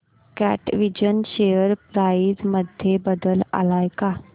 कॅटविजन share price मध्ये बदल आलाय का